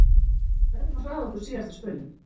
Við verðum að hraða okkur síðasta spölinn.